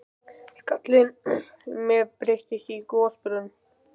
Skallinn á mér breytist í gosbrunn.